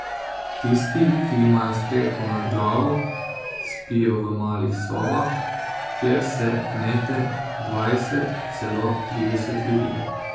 Tisti, ki imajo streho nad glavo, spijo v malih sobah, kjer se gnete dvajset, celo trideset ljudi.